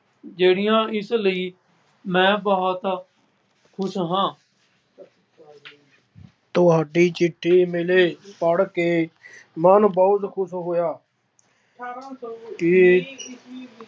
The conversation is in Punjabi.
ਜਿਹੜੀਆ ਇਸ ਲਈ ਮੈਂ ਬਹੁਤ ਖੁਸ਼ ਹਾਂ ਤੁਹਾਡੀ ਚਿੱਠੀ ਮਿਲੀ ਪੜ੍ਹ ਕੇ ਮਨ ਬਹੁਤ ਖੁਸ਼ ਹੋਇਆ। ਕਿ